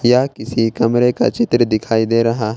यह किसी कमरे का चित्र दिखाई दे रहा है।